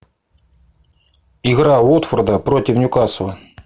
игра уотфорда против ньюкасла